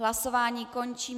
Hlasování končím.